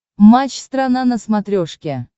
матч страна на смотрешке